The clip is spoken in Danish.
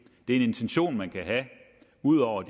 det er en intention man kan have ud over at